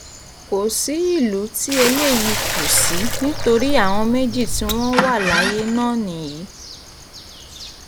kò sí ìlú tí eléyìí kò sí nítorí àwọn méjì tí wọ́n wà láyé náà nìyí